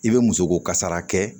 I bɛ muso ko kasara kɛ